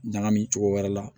Ɲagami cogo wɛrɛ la